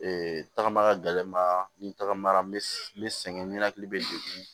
tagama ka gɛlɛ ma ni tagamara n bɛ sɛgɛn nɛnɛkili bɛ degun